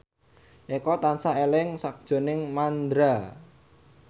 Eko tansah eling sakjroning Mandra